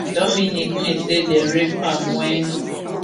dominique p wey say dem rape am wen